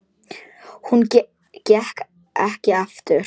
Hún gekk ekki aftur.